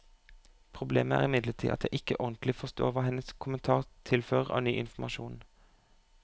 Problemet er imidlertid at jeg ikke ordentlig forstår hva hennes kommentar tilfører av ny informasjon.